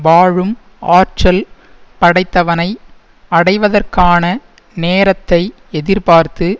வாழும் ஆற்றல் படைத்தவனை அடைவதற்கான நேரத்தை எதிர்பார்த்து